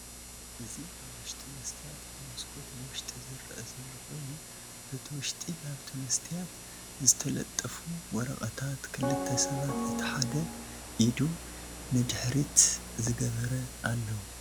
እዚ አብ ውሽጢ መስትያት ብመስኮት ንውሽጢ ዝረአ ዘሎ ኮይኑ በቲ ውሽጢ ናብቲ መስትያት ዝተለጠፉ ወረቀታት፣ ክልተ ሰባት እቲ ሓደ ኢዱ ነድሕሪት ዝገበረ አለዉ፡፡